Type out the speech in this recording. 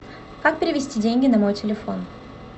как перевести деньги на мой телефон